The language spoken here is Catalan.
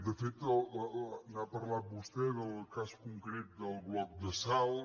de fet n’ha parlat vostè del cas concret del bloc de salt